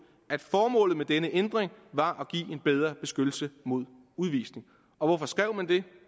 at formålet med denne ændring var at give en bedre beskyttelse mod udvisning og hvorfor skrev man det